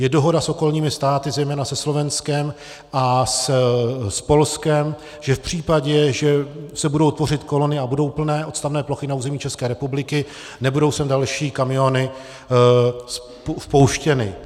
Je dohoda s okolními státy, zejména se Slovenskem a s Polskem, že v případě, že se budou tvořit kolony a budou plné odstavné plochy na území České republiky, nebudou sem další kamiony vpouštěny.